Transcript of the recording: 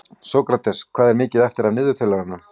Sókrates, hvað er mikið eftir af niðurteljaranum?